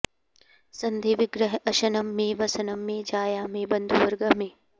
सन्धि विग्रह अशनं मे वसनं मे जाया मे बन्धु वर्गः मे